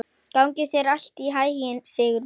Gangi þér allt í haginn, Sigurbergur.